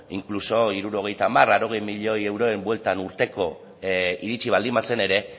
inkluso hirurogeita hamar laurogei milioi euroen bueltan urteko iritsi baldin bazen ere